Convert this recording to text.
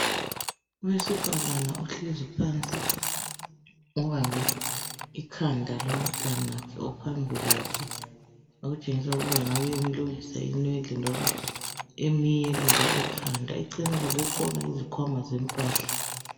Owesifazana ohlezi phansi obambe ikhanda lomtanakhe ophambi kwakhe okutshengisela ukuba angabe emeluka inwele kumbe emlungisa ikhanda. Eceleni kwakhe kukhona izikhwama zempahla.